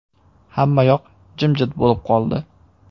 “Hammayoq jimjit bo‘lib qoldi.